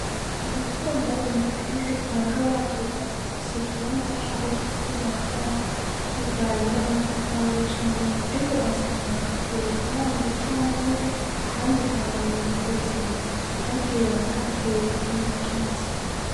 Ndakunda inzu kenshi usanga ba zubatswe zifise ikibanza caho cokubakwa bivanye namatafari canke iki ariko ugasanga kuruhande cane ahandi hantu mukuzibira bagiye barahatera ibiti